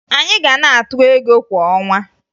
Anyị ga na-atụ ego kwa ọnwa